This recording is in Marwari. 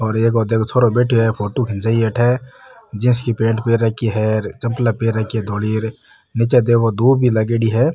और एक ओ देखो छोराे बैठयो है फोटो खिचाई है अठे जींस की पेंट पहन राखी है और चप्पला पहन राखी है धोली निचे देखो दूब भी लागेड़ी है।